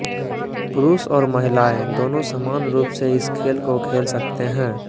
पुरुष और महिलाएँ दोनों समान रूप से इस खेल को खेल सकते हैं